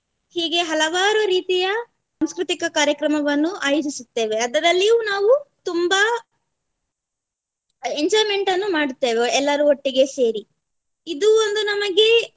ಹೀಗೆ ಹಲವಾರು ರೀತಿಯ ಸಾಂಸ್ಕೃತಿಕ ಕಾರ್ಯಕ್ರಮವನ್ನು ಆಯೋಜಿಸುತ್ತೇವೆ. ಅದರಲ್ಲಿಯೂ ನಾವು ತುಂಬಾ enjoyment ಅನ್ನು ಮಾಡುತ್ತೇವೆ ಎಲ್ಲರು ಒಟ್ಟಿಗೆ ಸೇರಿ. ಇದು ಒಂದು ನಮಗೆ